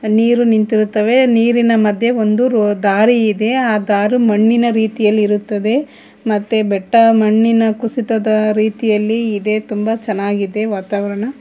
ನೀರು ನಿಂತಿರುತ್ತವೆ ನೀರಿನ ಮಧ್ಯೆ ಒಂದು ದಾರಿ ಇದೆ ಆ ದಾರು ಮಣ್ಣಿನ ರೀತಿಯಲ್ಲಿ ಇರುತ್ತದೆ ಮತ್ತೆ ಬೆಟ್ಟ ಮಣ್ಣಿನ ಕುಸಿತದ ರೀತಿಯಲ್ಲಿ ಇದೆ ತುಂಬ ಚೆನ್ನಾಗಿದೆ ವಾತಾವರ್ಣ.